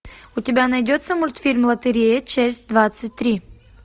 у тебя найдется мультфильм лотерея часть двадцать три